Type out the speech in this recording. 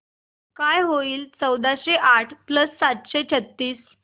काय होईल चौदाशे आठ प्लस सातशे छ्त्तीस